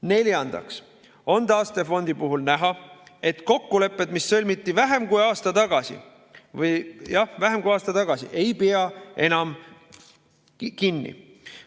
Neljandaks on taastefondi puhul näha, et kokkulepetest, mis sõlmiti vähem kui aasta tagasi, ei peeta enam kinni.